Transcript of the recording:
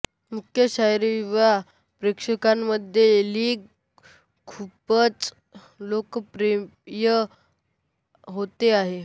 मुख्य शहरी युवा प्रेक्षकांमध्ये लीग खूपच लोकप्रिय होत आहे